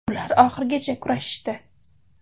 Ular oxirigacha kurashishdi.